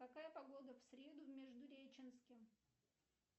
какая погода в среду в междуреченске